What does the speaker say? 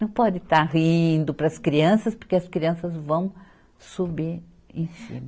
Não pode estar rindo para as crianças, porque as crianças vão subir em cima.